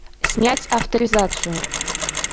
снять авторизацию